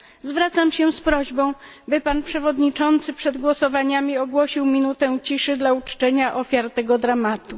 Zwracam się z prośbą, by pan przewodniczący przed głosowaniami ogłosił minutę ciszy dla uczczenia ofiar tego dramatu.